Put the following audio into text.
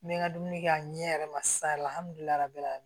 N bɛ n ka dumuni kɛ a ɲɛ yɛrɛ ma sa